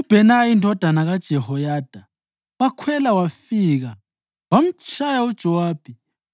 UBhenaya indodana kaJehoyada wakhwela wafika wamtshaya uJowabi